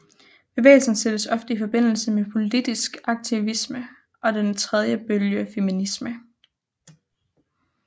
Bevægelsen sættes ofte i forbindelse med politisk aktivisme og den tredje bølge feminisme